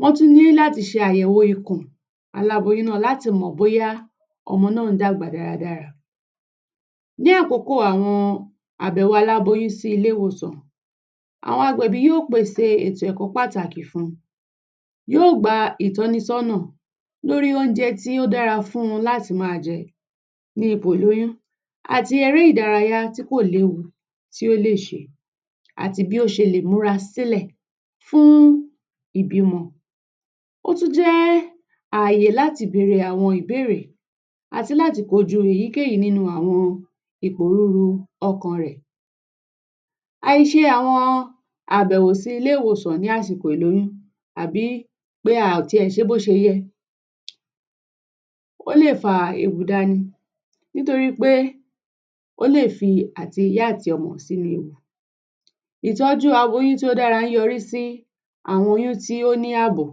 Wọ́n tún ní láti ṣe àyẹ̀wò ikùn aláboyún náà láti mọ̀ bóyá ọmọ náà ń dàgbà dáradára. Ní àkókò àwọn aláboyún sí ilé ìwòsàn, àwọn agbẹ̀bí yóò pèsè ẹ̀kọ́ pàtàkì fún wọn, yóò gba ìtọ́nisọ́nà lórí oúnjẹ tí ó dára fún un láti máa jẹ ní ipò ìlóyún, àti eré ìdárayá tí kò léwu tó lè ṣe, àti bí ó ṣe lè múra sílẹ̀ fún ìbímọ. Ó tún jẹ́ àyè láti bèrè àwọn ìbéèrè àti láti kojú èyíkéyìí nínú àwọn ìpòrúru ọkàn rẹ̀. Àìṣe àwọn àbẹ̀wò sí ilé ìwòsàn ní ásìkò ìlóyún, àbí a ò tiẹ̀ ṣé bó ṣe yẹ, ó lè fa ewu dání nítorí pé ó lè fi àti ìyá àti ọmọ sínú ewu. Ìtọ́jú aboyún tí ó dára ń yọrí sí àwọn oyún tí ó ní àbò,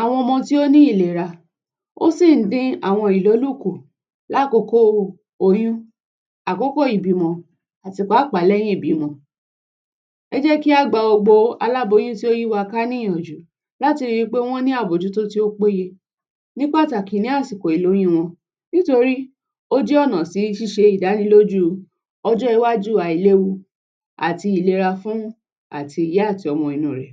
àwọn ọmọ tí ó ní ìlera, ó sì ń dín àwọn ìlólò kù lákòókò oyún, àkókò ìbímọ àti pàápàá lẹ́yìn ìbímọ. Ẹ jẹ́ kí a gba gbogbo aláboyún tó yí wa ká ní ìyànjú láti ri pé wọ́n ní àbójútó tó péye ní pàtàkì ní àsìkò ìlóyún wọn nítorí ó jẹ́ ọ̀nà sí ṣíṣe ìdánilójú ọjọ́ iwájú àìléwu àti ìlera fún àti ìyá àti ọmọ inú rẹ̀.